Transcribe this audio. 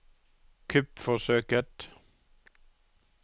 kuppforsøket